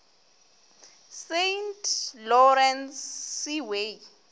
saint lawrence seaway